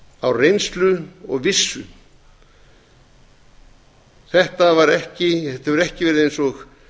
á reynslu og vissu þetta hefur ekki verið eins og